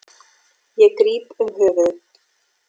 Ég gríp um höfuðið.